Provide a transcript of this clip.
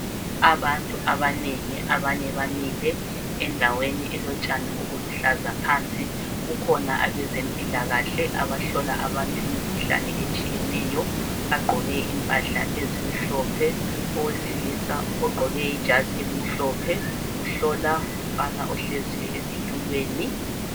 Abantu abanengi abanye bamile endaweni elotshani obuluhlaza phansi. Kukhona abezempilakahle abahlola abantu imikhuhlane etshiyeneyo bagqoke impahla ezimhlophe. Owesilisa ogqoke ijazi elimhlophe uhlola umfana ohleziyo esitulweni